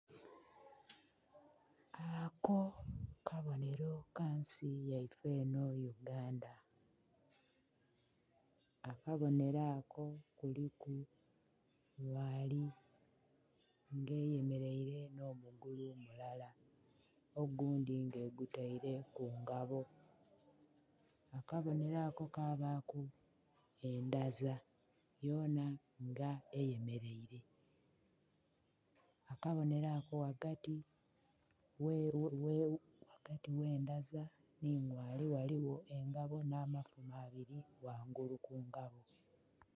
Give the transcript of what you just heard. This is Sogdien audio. Ako kabonhero ka nsi yaife enho Uganda, akabonhero ako kuliku ngaali nga eyemeleire nho mugulu mulala ogundhi nga egutaire ku ngabo, akabonhero ako kabaaku endhaza yona nga eyemeleire. Akabonhero ako ghagati gh'endhaza nhi ngaali ghaligho engabo nh'amafumo abiri ghangulu ku ngabo.